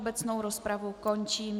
Obecnou rozpravu končím.